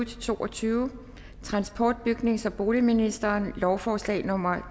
to og tyve transport bygnings og boligministeren lovforslag nummer